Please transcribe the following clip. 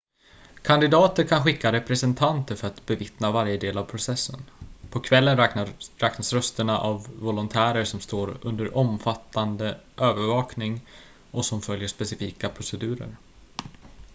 kandidater kan skicka representanter för att bevittna varje del av processen på kvällen räknas rösterna av volontärer som står under omfattande övervakning och som följer specifika procedurer